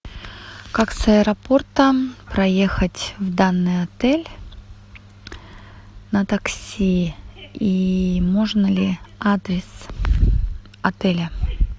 как с аэропорта проехать в данный отель на такси и можно ли адрес отеля